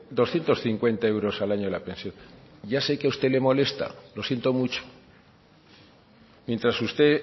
doscientos cincuenta euros al año la pensión ya sé que a usted le molesta lo siento mucho mientras usted